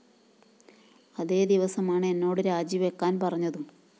അതേ ദിവസമാണ് എന്നോട് രാജിവയ്ക്കാന്‍ പറഞ്ഞതും